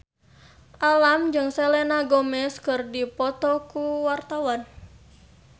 Alam jeung Selena Gomez keur dipoto ku wartawan